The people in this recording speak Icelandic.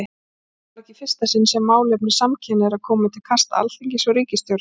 Þetta var ekki í fyrsta sinn sem málefni samkynhneigðra komu til kasta Alþingis og ríkisstjórnar.